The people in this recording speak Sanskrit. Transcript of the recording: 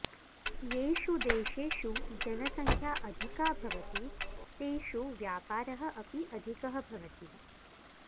येषु देशेषु जनसङ्ख्या अधिका भवति तेषु व्यापारः अपि अधिकः भवति